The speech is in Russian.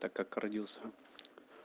так как родился